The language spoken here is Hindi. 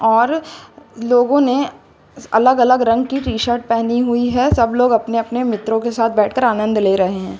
और लोगों ने अलग अलग रंग की टी शर्ट पहनी हुई है सब लोग अपने अपने मित्रों के साथ बैठकर आनंद ले रहे हैं।